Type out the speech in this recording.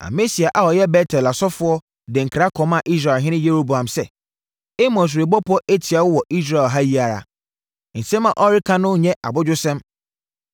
Amasia a ɔyɛ Bet-El ɔsɔfoɔ de nkra kɔmaa Israelhene Yeroboam sɛ, “Amos rebɔ pɔ atia wo wɔ Israel ha yi ara! Nsɛm a ɔreka no nnyɛ abodwosɛm.